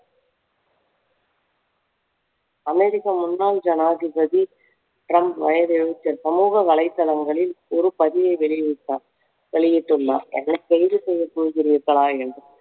அமெரிக்க முன்னாள் ஜனாதிபதி ட்ரம் வயது எழுபத்தி ஆறு சமூக வலைதளங்களில் ஒரு பதிவை வெளியிட்டார் வெளியிட்டுள்ளார் என்னை கைது செய்ய போகிறீர்களா என்று